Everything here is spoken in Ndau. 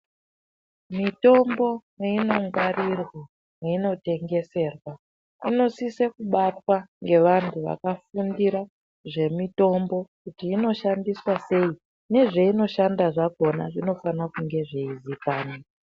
Mitombo meinongwaririrwa, meinotengeserwa, inosiswe kubatwa ngevantu vakafundira zvemitombo kuti inoshandiswa sei nezveinoshanda zvakhona zvinofane kunge zveizikanwa.